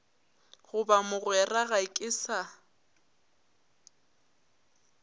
goba mogwera ga ke sa